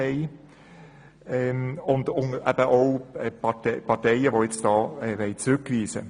Dazu gehören auch Parteien, die eine Rückweisung des Geschäfts wollen.